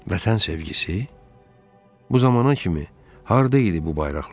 Vətən sevgisi, bu zamana kimi harda idi bu bayraqlar?